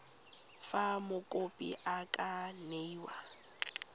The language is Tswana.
fa mokopi a ka newa